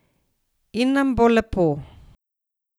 In nam bo lepo.